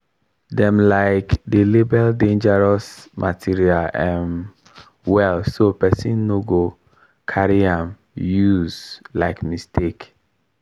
dem um dey label dangerous material um well so person no go carry am use um mistake.